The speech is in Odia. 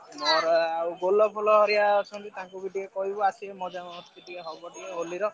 ମୋର ଆଉ ବୋଲ ଫୋଲ ଭରିକା ଅଛନ୍ତି ତାଙ୍କୁ ବି ଟିକେ କହିବୁ ଆସିବେ ମଜା ମସ୍ତି ଟିକେ ହବ ଟିକେ ହୋଲି ର।